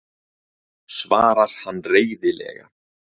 svarar hann reiðilega.